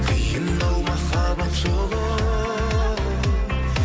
қиын ау махаббат жолы